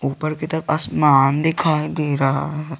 ऊपर की तरफ आसमान दिखाई दे रहा है।